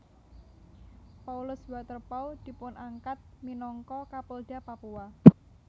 Paulus Waterpauw dipunangkat minangka Kapolda Papua